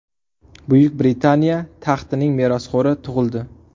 Buyuk Britaniya taxtining merosxo‘ri tug‘ildi.